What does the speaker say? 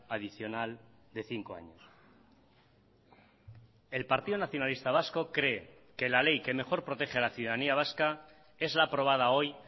adicional de cinco años el partido nacionalista vasco cree que la ley que mejor protege a la ciudadanía vasca es la aprobada hoy